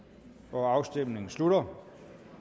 nu afstemningen slutter